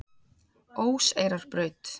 Óseyrarbraut